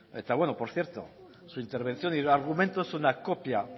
ez eta bueno por cierto su intervención y argumento es una copia